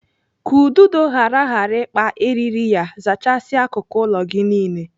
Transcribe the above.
Ka ududo ghara ghara ịkpa eriri ya, zachasia akụkụ ụlọ gị niile.